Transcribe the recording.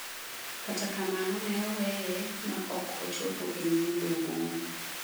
Kata kamano ne oweye ma ok ochopo e nyim doho.